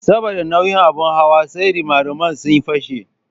Saboda nauyin abin hawa sai rimariman ya fashe.